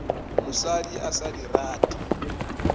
mosadi a sa di rate